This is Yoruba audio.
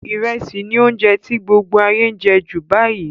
Ìrẹsì ni ounje ti gbogbo ayé n je ju báyìí